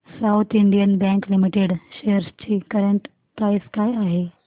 south Indian Bank Limited shares ची current price काय आहे